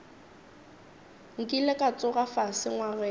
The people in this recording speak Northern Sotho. nkile ka tsoga fase ngwageng